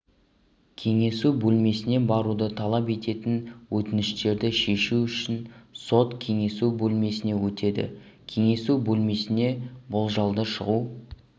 кеңесу бөлмесіне баруды талап ететін өтініштерді шешу үшін сот кеңесу бөлмесіне өтеді кеңесу бөлмесінен болжалды шығу